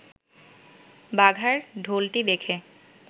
বাঘার ঢোলটি দেখে